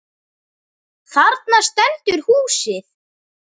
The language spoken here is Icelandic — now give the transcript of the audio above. Þarna stendur húsið.